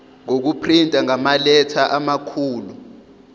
ngokuprinta ngamaletha amakhulu